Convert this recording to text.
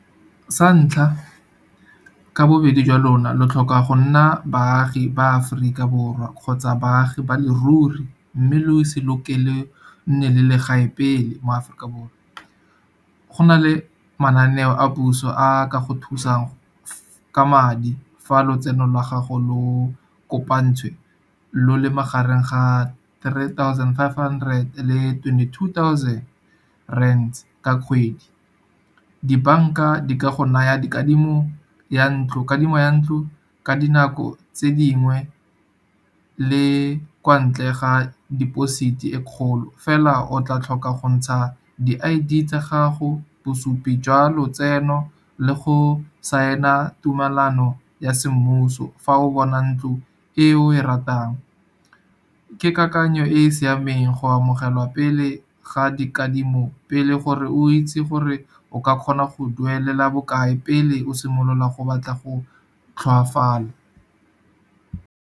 Sa ntlha ka bobedi jwa lona lo tlhoka go nna baagi ba Aforika Borwa. Kgotsa baagi ba leruri mme le o se lokele nne le legae pele mo Aforika Borwa. Go na le mananeo a puso a ka go thusang ka madi, fa lotseno la gago lo kopantswe lo le magareng ga three thousand five hundred le twenty-two thousand rand ka kgwedi. Di-bank-a di ka go naya dikadimo ya ntlo, kadimo ya ntlo, ka dinako tse dingwe le kwa ntle ga deposit-i e kgolo. Fela o tla tlhoka go ntsha di-I_D tsa gago, bosupi jwa lotseno le go signer tumelano ya se mmuso, fa o bona ntlo e o e ratang. Ke kakanyo e e siameng go amogelwa pele ga dikadimo pele, gore o itse gore o ka kgona go duelela bokae pele o simolola go batla go tlhoafala.